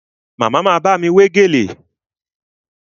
Màmá ma bámi wé gèlè